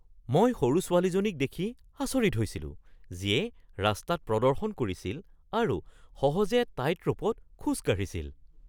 মই সৰু ছোৱালীজনীক দেখি আচৰিত হৈছিলো যিয়ে ৰাস্তাত প্ৰদৰ্শন কৰিছিল আৰু সহজে টাইটৰ'পত খোজ কাঢ়িছিল।